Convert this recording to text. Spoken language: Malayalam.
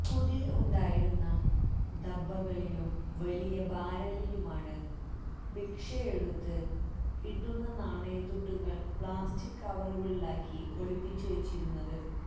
കുടിൽ ഉണ്ടായിരുന്ന ഡബ്ബകളിലും വലിയ ബാരലിലുമാണ് ഭിക്ഷയെടുത്ത് കിട്ടുന്ന നാണയത്തുട്ടുകൾ പ്ലാസ്റ്റിക് കവറുകളിലാക്കി ഒളിപ്പിച്ചുവച്ചിരുന്നത്